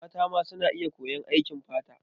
Mata ma suna iya koyan aikin fata.